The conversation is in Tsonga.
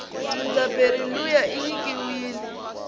mudzabheri luya inyikiwile